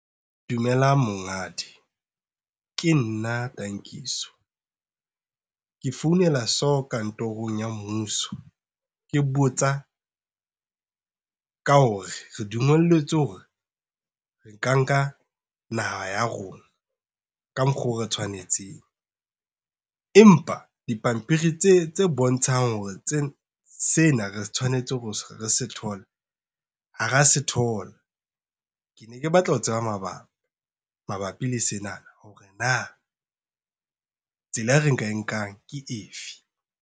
Dumelang monghadi ke nna Tankiso. Ke founela so kantorong ya mmuso ke botsa, ka hore re dumelletswe hore re ka nka naha ya rona ka mokgwa o re tshwanetseng. Empa dipampiri tse bontshang hore sena re tshwanetse hore re se thole ha ra se thola. Ke ne ke batla ho tseba mabaka mabapi le sena, hore na tsela e re ka e nkang ke efe?